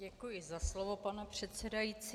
Děkuji za slovo, pane předsedající.